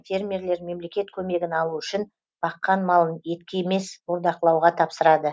фермерлер мемлекет көмегін алу үшін баққан малын етке емес бордақылауға тапсырады